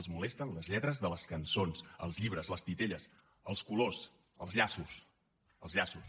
els molesten les lletres de les cançons els llibres els titelles els colors els llaços els llaços